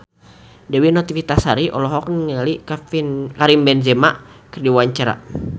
Dewi Novitasari olohok ningali Karim Benzema keur diwawancara